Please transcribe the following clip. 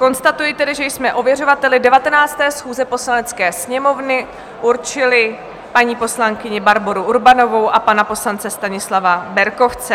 Konstatuji tedy, že jsme ověřovateli 19. schůze Poslanecké sněmovny určili paní poslankyni Barboru Urbanovou a pana poslance Stanislava Berkovce.